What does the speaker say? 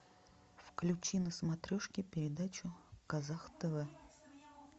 включи на смотрешке передачу казах тв